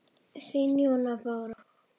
Þín, Jóna Bára.